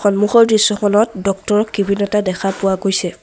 সম্মুখৰ দৃশ্যখনত ডক্তৰ ৰ কেবিন এটা দেখা পোৱা গৈছে।